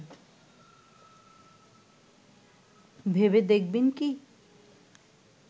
ভেবে দেখবেন কি